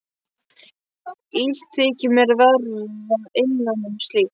Illt þykir mér að vera innan um slíkt.